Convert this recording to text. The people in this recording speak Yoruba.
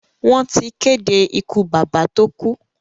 Wọ́n ti kéde ikú bàbá tó kú.